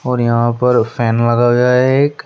और यहां पर फैन लगा हुआ है एक।